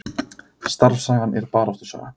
Starfssagan er baráttusaga